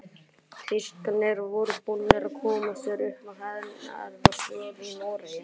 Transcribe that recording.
Þýskararnir voru búnir að koma sér upp hernaðaraðstöðu í Noregi.